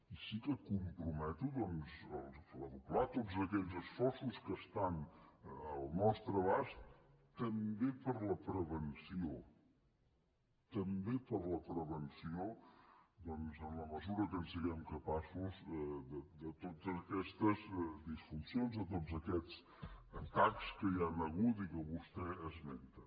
i sí que em comprometo doncs a redoblar tots aquells esforços que estan al nostre abast també per a la prevenció també per a la prevenció en la mesura que en siguem capaços de totes aquestes disfuncions de tots aquests atacs que hi han hagut i que vostè esmenta